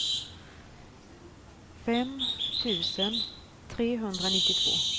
fem tusen trehundranittiotvå